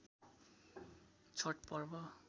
Chhath Parv